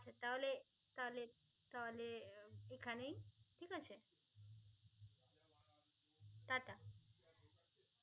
তাহলে